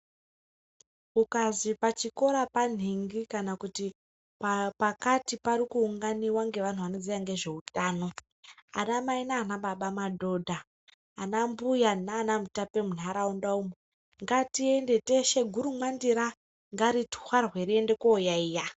Kukazi pachikora panhingi kana kuti pakati parikuunganiwa ngevanhu vanoziya ngezveutano ana mai nana baba, madhodha, anambuya nana mutape munharaunda umo ngatiende teshe. Gurumwandira ndaritwarwe tiende koyaiya.